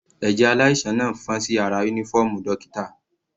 Ẹ̀jẹ̀ aláìsàn náà fọ́n sí ara uniform dókítà.